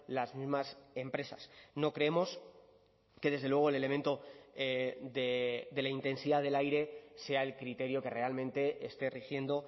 las mismas empresas no creemos que desde luego el elemento de la intensidad del aire sea el criterio que realmente esté rigiendo